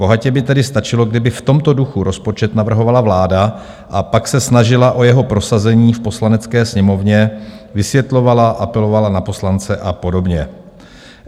Bohatě by tedy stačilo, kdyby v tomto duchu rozpočet navrhovala vláda a pak se snažila o jeho prosazení v Poslanecké sněmovně, vysvětlovala, apelovala na poslance a podobně.